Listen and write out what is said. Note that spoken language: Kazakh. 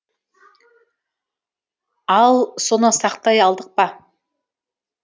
ал соны сақтай алдық па